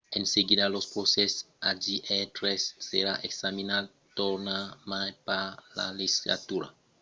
en seguida del procès hjr-3 serà examinat tornarmai per la legislatura elegida venenta si en 2015 o 2016 per demorar en procès